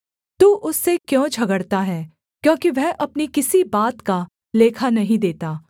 तू उससे क्यों झगड़ता है क्योंकि वह अपनी किसी बात का लेखा नहीं देता